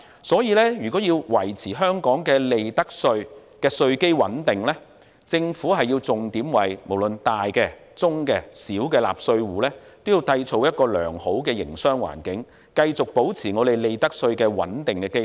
所以，如果要維持香港的利得稅的稅基穩定，政府便要重點為大、中、小納稅戶，營造良好的營商環境，繼續保持利得稅的穩定基礎。